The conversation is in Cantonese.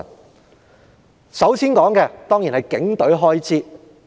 我首先要談的當然是警隊開支。